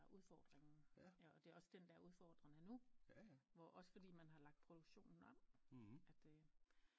Udfordringen og det er også den der er udfordrende nu hvor også fordi man har lagt produktionen om at